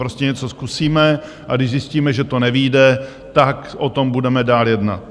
Prostě něco zkusíme, a když zjistíme, že to nevyjde, tak o tom budeme dál jednat.